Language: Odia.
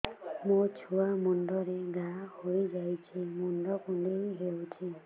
ମୋ ଛୁଆ ମୁଣ୍ଡରେ ଘାଆ ହୋଇଯାଇଛି ମୁଣ୍ଡ କୁଣ୍ଡେଇ ହେଉଛି